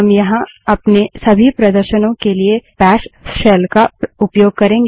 हम यहाँ अपने सभी प्रदर्शनों के लिए बैश शेल का उपयोग करेंगे